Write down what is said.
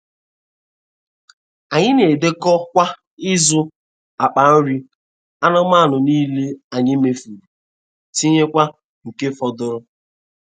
Anyị na-edekọ kwa izu, akpa nri anụmanụ niile anyị mefuru, tinyekwa nke fọdụrụ.